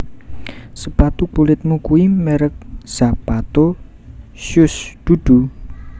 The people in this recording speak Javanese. Sepatu kulitmu kui merk Zapato Shoes dudu?